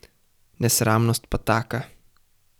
Nesramnost pa taka!